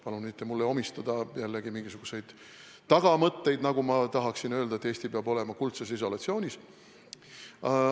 Palun mulle mitte omistada jälle mingisuguseid tagamõtteid, nagu ma tahaksin öelda, et Eesti peab olema kuldses isolatsioonis.